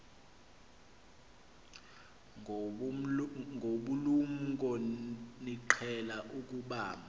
ngobulumko niqhel ukubamb